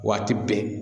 Waati bɛɛ